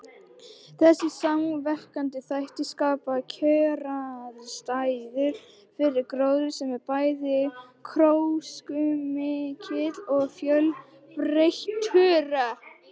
Þessir samverkandi þættir skapa kjöraðstæður fyrir gróður sem er bæði gróskumikill og fjölbreyttur.